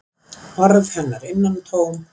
Orð hennar innantóm.